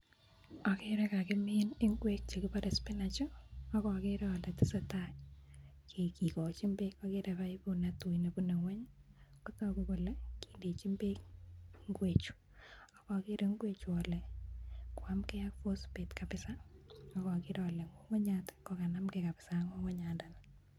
Ageere kakimiin ingwek che kipare spinach ak ageere ale tesetai kikochin beek, ageere paiput netui nebune ingwony kotoku kole bechinn beek ingwechu, ak ageere ingwechu kole koyamkei ak phosphate kapsa ak ageere kora kole ngungunyat kokanamkei kapsa ak ngungunyandani.